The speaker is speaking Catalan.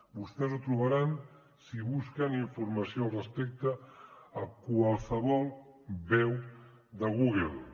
vostès ho trobaran si busquen informació al respecte a qualsevol web de google